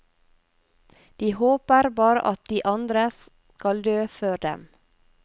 De håper bare at de andre skal dø før dem.